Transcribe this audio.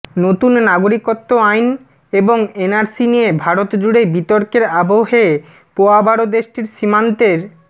নতুন নাগরিকত্ব আইন এবং এনআরসি নিয়ে ভারতজুড়ে বিতর্কের আবহে পোয়াবারো দেশটির সীমান্তের